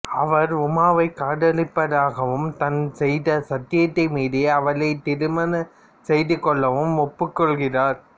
அவர் உமாவை காதலிப்பதாகவும் தான் செய்த சத்தியத்தை மீறி அவளை திருமணம் செய்து கொள்ளவும் ஒப்புக்கொள்கிறார்